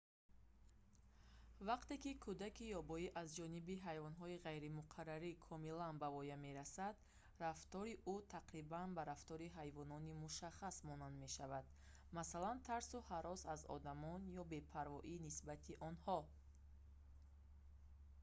вақте ки кӯдаки ёбоӣ аз ҷониби ҳайвонҳои ғайримуқаррарӣ комилан ба воя мерасад рафтори ӯ дар ҳудуди ҷисмонӣ тақрибан ба рафтори ҳайвони мушаххас монанд мешавад масалан тарсу ҳарос аз одамон ё бепарвоӣ нисбати онҳо